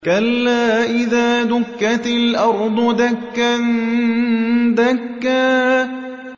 كَلَّا إِذَا دُكَّتِ الْأَرْضُ دَكًّا دَكًّا